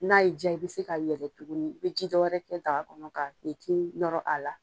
N'a y'i ja i bɛ se ka yɛlɛ tuguni i bɛ ji dɔ wɛrɛ kɛ daga kɔnɔ ka nɔrɔ a la.